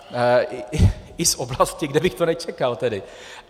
I z oblasti, kde bych to nečekal tedy .